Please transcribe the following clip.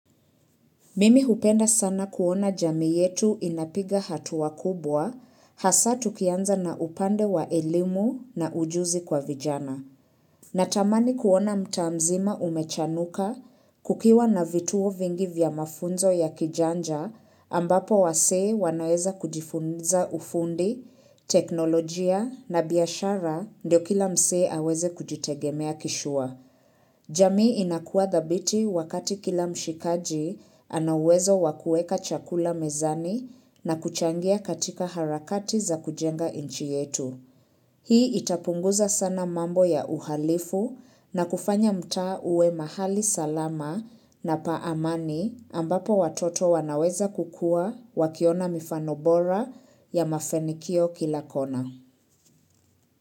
Mimi hupenda sana kuona jamii yetu inapiga hatua kubwa hasa tukianza na upande wa elimu na ujuzi kwa vijana. Natamani kuona mtaa mzima umechanuka kukiwa na vituo vingi vya mafunzo ya kijanja ambapo wasee wanaweza kujifunza ufundi, teknolojia na biashara ndio kila msee aweze kujitegemea kishua. Jamii inakua thabiti wakati kila mshikaji anauwezo wa kuweka chakula mezani na kuchangia katika harakati za kujenga inchi yetu. Hii itapunguza sana mambo ya uhalifu na kufanya mtaa uwe mahali salama na pa amani ambapo watoto wanaweza kukua wakiona mfano bora ya mafanikio kila kona.